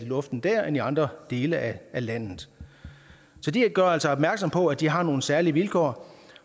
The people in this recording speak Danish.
luften dér end i andre dele af landet så de gør altså opmærksom på at de har nogle særlige vilkår